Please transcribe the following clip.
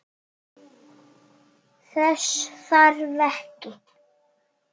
Þess þarf ekki.